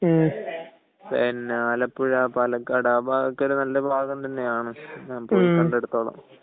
പിന്നെ ആലപ്പുഴ പാലക്കാട് ആ ഭാഗം ഒക്കെ നല്ല ഭാഗം തന്നെയാണ് ഞാൻ പോയി കണ്ടെടുത്തോളം